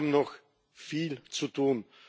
Wir haben noch viel zu tun.